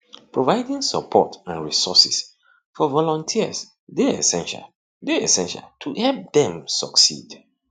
providing support and resources for volunteers dey essential dey essential to help dem succeed